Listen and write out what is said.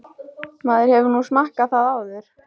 Maður hefur nú smakkað það áður.